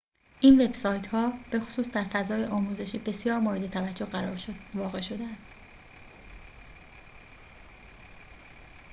این وب‌سایت‌ها بخصوص در فضای آموزشی بسیار موردتوجه واقع شده‌اند